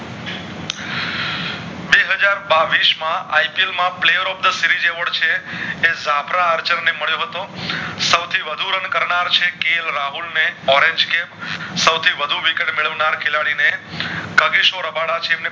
બે હજાર બાવીશ માં ipl માં Player of the Series Award છે એ છાપરા અર્ચન ને મળિયો હતો સોવ થી વધુ run કરનાર છે કે લ રાહુલ ને સૌવથી વધુ wicket મેળવનાર ખેલાડી ને